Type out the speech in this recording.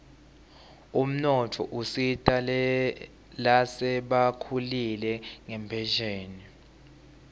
umnotfo usita lasebakhulile ngenphesheni